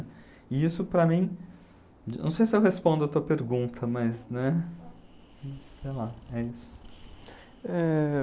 E isso para mim... Não sei se eu respondo a tua pergunta, mas, né... Sei lá, é isso. Eh...